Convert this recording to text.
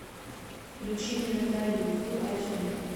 включи мне на краю фулл айч ди